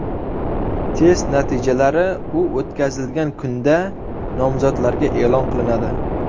Test natijalari u o‘tkazilgan kunda nomzodlarga e’lon qilinadi.